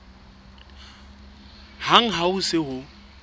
hang ha ho se ho